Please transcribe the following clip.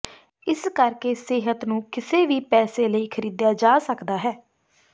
ਇਸ ਕਰਕੇ ਸਿਹਤ ਨੂੰ ਕਿਸੇ ਵੀ ਪੈਸੇ ਲਈ ਖਰੀਦਿਆ ਜਾ ਸਕਦਾ ਹੈ